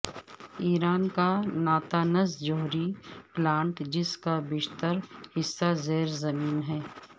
ایران کا ناتانز جوہری پلانٹ جس کا بیشتر حصہ زیر زمین ہے